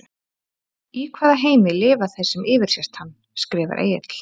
Í hvaða heimi lifa þeir sem yfirsést hann? skrifar Egill.